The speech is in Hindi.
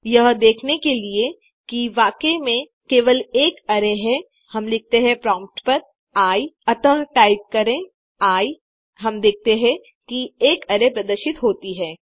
यह देखने के लिए कि आई वाकई में केवल एक अरै है हम लिखते हैं प्रोम्प्ट पर आई अतः टाइप करें आई हम देखते हैं कि एक अरै प्रदर्शित होती है